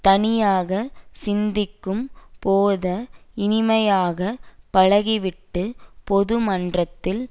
தனியாக சிந்திக்கும் போத இனிமையாக பழகிவிட்டுப் பொது மன்றத்தில்